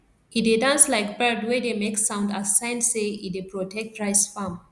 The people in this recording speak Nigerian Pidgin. e dey dance like bird wey dey make sound as sign say e dey protect rice farm